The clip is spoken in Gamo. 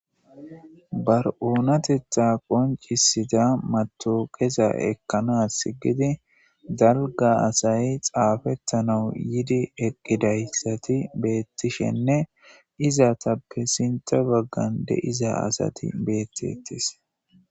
Bar7oonatetha qoncisida mato qeza ekkanas gidi dalga asay xaafettanau yidi eqqidayssati beettishenne izatappe sintha baggan de7iza asati beettetis